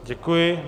Děkuji.